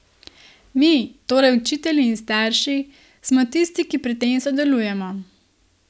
Mi, torej učitelji in starši, smo tisti, ki pri tem sodelujemo.